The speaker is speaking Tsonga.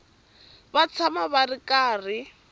va tshama va ri karhi